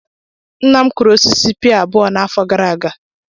Nna m kụrụ osisi pear abụọ n'afọ gara aga.